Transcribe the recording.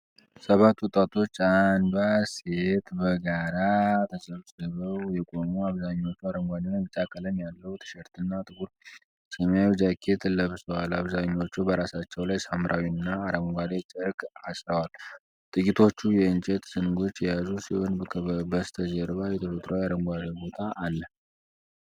ሰባት ወጣቶች፣ አንዷ ሴት፣ በጋራ ተሰብስበው የቆሙ። አብዛኞቹ አረንጓዴና ቢጫ ቀለም ያለው ቲሸርትና ጥቁር ሰማያዊ ጃኬት ለብሰዋል። አብዛኞቹ በራሳቸው ላይ ሐምራዊና አረንጓዴ ጨርቅ አሥረዋል። ጥቂቶቹ የእንጨት ዘንጎች የያዙ ሲሆን በስተጀርባ የተፈጥሮ አረንጓዴ ቦታ አለ።